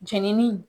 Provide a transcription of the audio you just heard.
Jenini